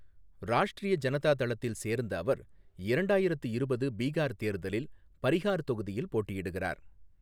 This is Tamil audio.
ராஷ்டிரிய ஜனதா தளத்தில் சேர்ந்த அவர் இரண்டாயிரத்து இருபது பீகார் தேர்தலில் பாிஹாா் தொகுதியில் போட்டியிடுகிறார்.